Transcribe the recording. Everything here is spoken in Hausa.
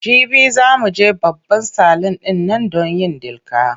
Jibi za mu je babban salun ɗin nan don yin dilka.